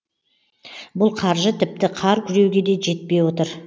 бұл қаржы тіпті қар күреуге де жетпей отыр